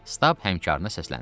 Stab həmkara səsləndi.